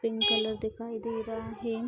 pink colour दिखाई दे रहा हेन --